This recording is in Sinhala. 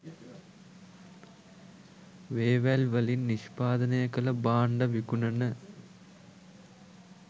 වේවැල් වලින් නිෂ්පාදනය කල භාන්ඩ විකුණන